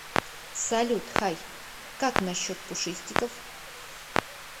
салют хайкак насчет пушистиков